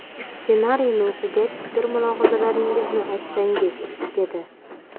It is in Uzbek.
Ssenariyni o‘qigach, fikr-mulohazalaringizni aytsangiz”, dedi.